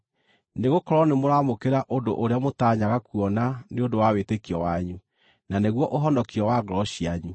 nĩgũkorwo nĩmũramũkĩra ũndũ ũrĩa mũtanyaga kuona nĩ ũndũ wa wĩtĩkio wanyu, na nĩguo ũhonokio wa ngoro cianyu.